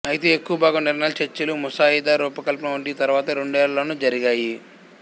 అయితే ఎక్కువభాగం నిర్ణయాలు చర్చలు ముసాయిదా రూపకల్పన వంటివి తర్వాతి రెండేళ్ళలోనే జరిగాయి